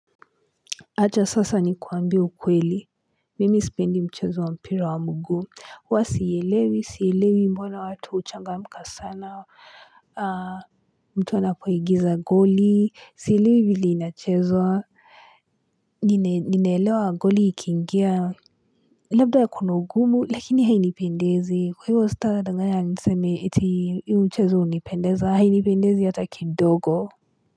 Acha sasa nikuambie ukweli, mimi sipendi mchezo wa mpira wa mguu. Huwa siielewi, sielewi mbona watu huchangamka sana, mtu anapoingiza goli, sielewi vilea inachezwa. Ninelewa goli ikiingia, labda ya kuna ugumu, lakini hainipendezi. Kwa hivyo sitadanganya niseme eti hiyo mchezo hunipendeza, hainipendezi hata kidogo.